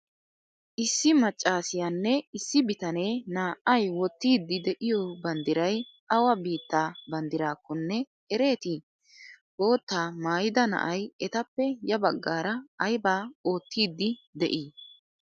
Issi maccaasiyanne issi bitanee naa'ay wotiyddi de'iyo banddiray awa biittaa banddirakkonne ereeti? Botta maayida naa'ay etappe ya baggara aybaa ottiydi de'i?